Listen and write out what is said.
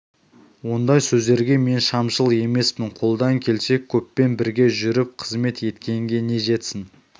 ондай сөздерге мен шамшыл емеспін қолдан келсе көппен бірге жүріп қызмет еткенге не жетсін